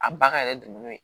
A ba ka yɛrɛ dun n'o ye